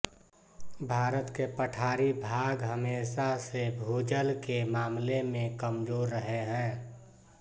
भारत के पठारी भाग हमेशा से भूजल के मामले में कमजोर रहे हैं